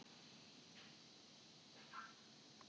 Þeir stofnuðu verslanakeðjuna Aldi.